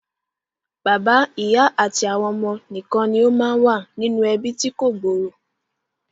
Bàbá, ìyá àti àwọn ọmọ nìkan ni ó máa ń wà nínú ẹbí tí kò gbòòrò